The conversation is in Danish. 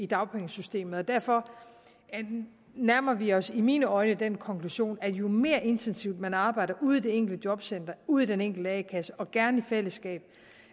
dagpengesystemet derfor nærmer vi os i mine øjne den konklusion at jo mere intensivt man arbejder ude i det enkelte jobcenter ude i den enkelte a kasse og gerne i fællesskab